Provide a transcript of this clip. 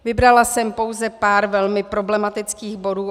Vybrala jsem pouze pár velmi problematických bodů.